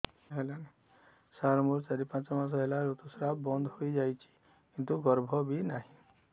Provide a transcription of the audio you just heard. ସାର ମୋର ଚାରି ପାଞ୍ଚ ମାସ ହେଲା ଋତୁସ୍ରାବ ବନ୍ଦ ହେଇଯାଇଛି କିନ୍ତୁ ଗର୍ଭ ବି ନାହିଁ